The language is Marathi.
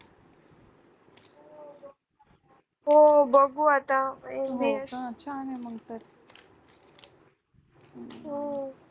हो बघू आता